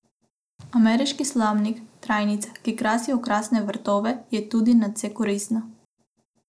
Ameriški slamnik, trajnica, ki krasi okrasne vrtove, je tudi nadvse koristna.